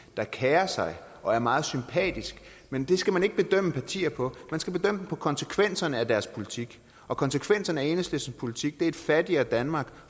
der kerer sig og er meget sympatisk men det skal man ikke bedømme partier på man skal bedømme dem på konsekvenserne af deres politik og konsekvenserne af enhedslistens politik er et fattigere danmark